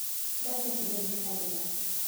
Dharka ku dheji xadhigga.